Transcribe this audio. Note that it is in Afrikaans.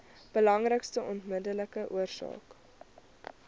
belangrikste onmiddellike oorsake